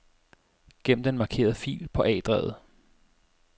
Gem den markerede fil på A-drevet.